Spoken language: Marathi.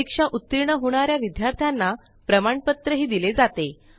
परीक्षा उतीर्ण होणा या विद्यार्थ्यांना प्रमाणपत्रही दिले जाते